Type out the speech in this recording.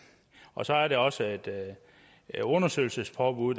og så er der også et undersøgelsespåbud